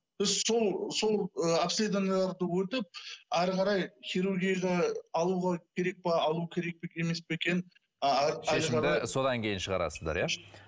біз сол сол ы обследованияларды өтіп әрі қарай хирургияда алуға керек пе алу керек пе емес пе екен шешімді содан кейін шығарасыздар иә